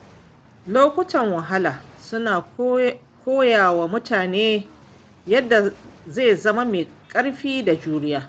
Lokutan wahala suna koya wa mutum yadda zai zama mai ƙarfi da juriya.